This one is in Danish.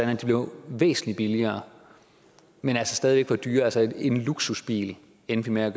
blev væsentlig billigere men altså stadig var dyrere så en luksusbil endte med at